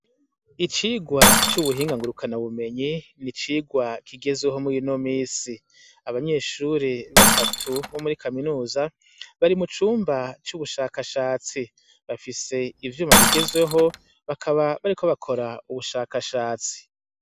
Icigwa c' ubuhinga ngurukana bumenyi, n' icigwa kigezweho muri ino misi, abanyeshure batatu bo muri kaminuza bari mucumba c' ubushakashatsi, bafise ivyuma bigezweho bakaba bariko bakora ubushakashatsi.